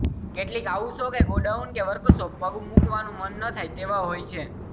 કેટલીક ઓઉિસો કે ગોડાઉન કે વર્કશોપ પગ મૂકવાનું મન ન થાય તેવા હોય છે